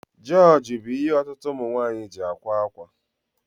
Jioji bú ihe ọtụtụ ụmụnwaanyi ji ákwà akwa